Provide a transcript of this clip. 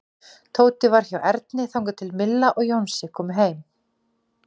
Tóti var hjá Erni þangað til Milla og Jónsi komu heim.